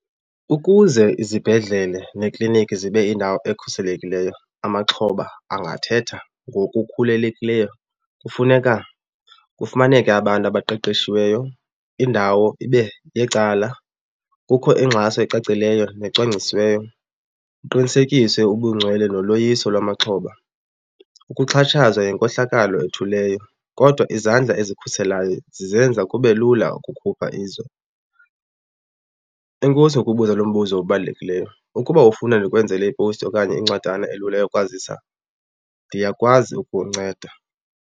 Ukuze izibhedlele neekliniki zibe yindawo ekhuselekileyo, amaxhoba angathetha ngokukhululekileyo. Kufuneka kufumaneke abantu abaqeqeshiweyo, indawo ibe yecala, kukho ingxaso ecacileyo necwangcisiweyo, kuqinisekiswe ubungcwele noloyiso lwamaxhoba. Ukuxhatshazwa yinkohlakalo ethuleyo kodwa izandla ezikhuselayo zizenza kube lula ukukhupha izwi. Enkosi ngokubuza lo mbuzo obalulekileyo. Ukuba ufuna ndikwenzele ipowusti okanye incwadana elula yokwazisa ndiyakwazi ukunceda.